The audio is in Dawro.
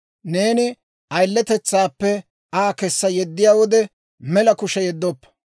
Neeni ayiletetsaappe Aa kessa yeddiyaa wode, mela kushe yeddoppa.